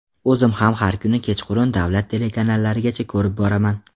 O‘zim ham har kuni kechqurun davlat telekanallarigacha ko‘rib boraman.